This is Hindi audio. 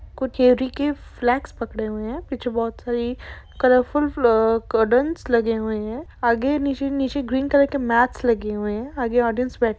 कुछ चेयरी फ्लैग्स पकडे हुए है पीछे बहुत सारी कलरफूल लगे हुए है आगे नीचे नीचे ग्रीन कलर के मैट्स लगे हुए है आगे ऑडियंस बै--